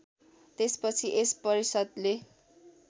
त्यसपछि यस परिषद्ले